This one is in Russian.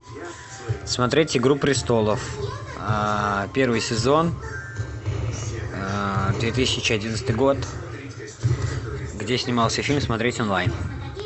смотреть игру престолов первый сезон две тысячи одиннадцатый год где снимался фильм смотреть онлайн